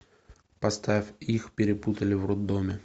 поставь их перепутали в роддоме